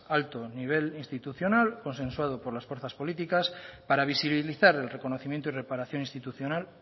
alto nivel institucional consensuado por las fuerzas políticas para visibilizar el reconocimiento y reparación institucional